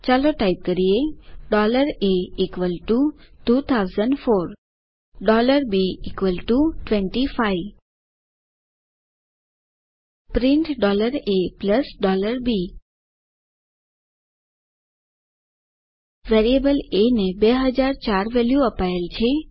ચાલો ટાઇપ કરીએa 2004 b 25 print a b variable a ને 2004 વેલ્યુ અપાયેલ છે